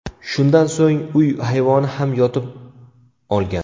Shundan so‘ng uy hayvoni ham yotib olgan.